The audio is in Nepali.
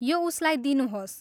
यो उसलाई दिनुहोस्।